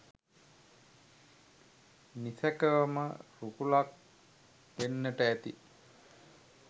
නිසැකවම රුකුලක් වෙන්නට ඇති.